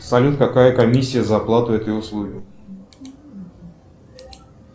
салют какая комиссия за оплату этой услуги